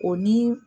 O ni